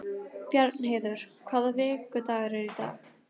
Bjarnheiður, hvaða vikudagur er í dag?